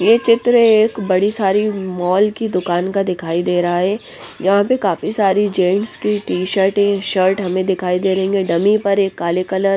ये चित्र एक बड़ी सारी मॉल की दुकान का दिखाई दे रहा हैं यहाँ पे काफी सारी जेंट्स की टीशर्ट शर्ट हमें दिखाई दे रहेंगे डमी पर एक काले कलर --